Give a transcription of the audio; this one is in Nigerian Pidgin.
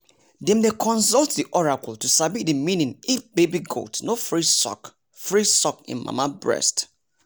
dem dey consult the oracle to sabi the meaning if baby goat no free suck free suck hin mama breast